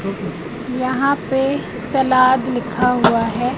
यहां पे सलाद लिखा हुआ है।